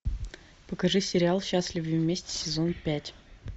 покажи сериал счастливы вместе сезон пять